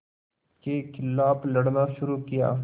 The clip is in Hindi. के ख़िलाफ़ लड़ना शुरू किया